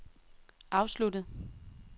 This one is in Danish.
afsluttet